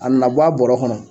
A na bɔ a bɔrɔ kɔnɔ